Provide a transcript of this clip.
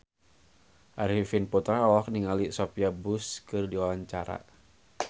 Arifin Putra olohok ningali Sophia Bush keur diwawancara